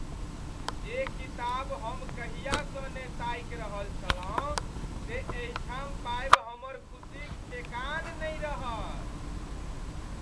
जे किताब हम कहियासँ ने ताकि रहल छलहुँ से एहिठाम पाबि हमर खुसीक ठेकान नहि रहल।